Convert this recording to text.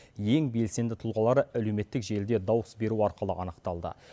ең белсенді тұлғалары әлеуметтік желіде дауыс беру арқылы анықталды